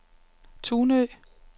Tunø